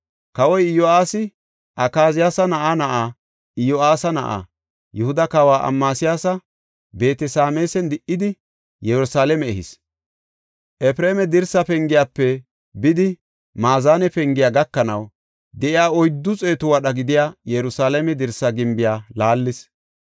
Kawoy Iyo7aasi Akaziyaasa na7aa na7aa, Iyo7aasa na7aa, Yihuda kawa Amasiyaasa Beet-Sameesan di77idi, Yerusalaame ehis. Efreema dirsa pengiyafe bidi maazane pengiya gakanaw de7iya oyddu xeetu wadha gidiya Yerusalaame dirsa gimbiya laallis.